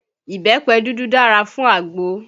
Ìbẹ́pẹ dúdú dára fún àgbo